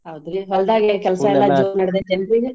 ಹೌದ್ರಿ ಹೊಲ್ದಾಗ ಏನ್ ಕೆಲ್ಸಾ ಎಲ್ಲಾ ಜೋರ್ ನಡ್ದೆತನ್ರಿ ಈಗ?